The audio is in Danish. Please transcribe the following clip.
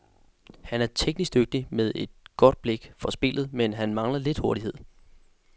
Han er teknisk dygtig med et godt blik for spillet, men han mangler lidt hurtighed.